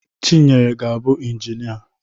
Chinyere ga-abụ Injịnia.